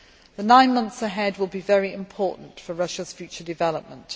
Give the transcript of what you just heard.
The nine months ahead will be very important for Russia's future development.